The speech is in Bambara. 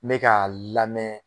Ne k'a lamɛ